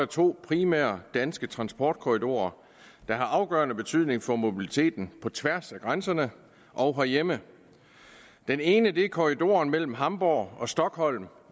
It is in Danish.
to primære danske transportkorridorer der har afgørende betydning for mobiliteten på tværs af grænserne og herhjemme den ene er korridoren mellem hamborg og stockholm